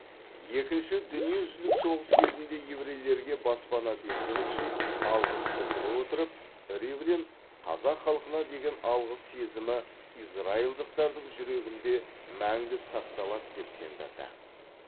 екінші дүниежүзілік соғыс кезінде еврейлерге баспана бергені үшін алғыс білдіре отырып ривлин қазақ халқына деген алғыс сезімі израильдықтардың жүрегінде мәңгі сақталады деп сендірді